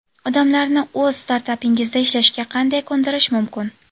Odamlarni o‘z startapingizda ishlashga qanday ko‘ndirish mumkin?.